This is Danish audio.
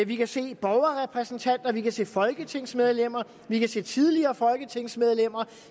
vi kan se borgerrepræsentanter vi kan se folketingsmedlemmer vi kan se tidligere folketingsmedlemmer